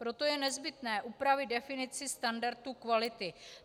Proto je nezbytné upravit definici standardu kvality.